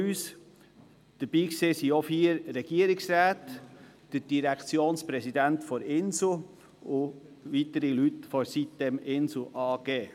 Dabei waren auch vier Regierungsräte, der Direktionspräsident des Inselspitals so wie Leute der sitem-insel AG.